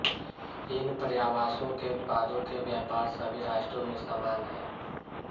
इन पर्यावासों के उत्पादों के व्यापार सभी राष्ट्रों में समान हैं